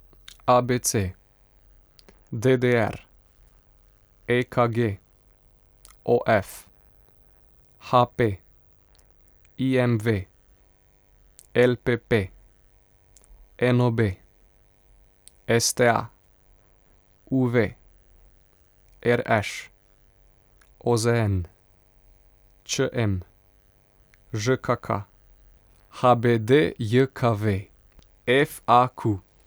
A B C; D D R; E K G; O F; H P; I M V; L P P; N O B; S T A; U V; R Š; O Z N; Č M; Ž K K; H B D J K V; F A Q.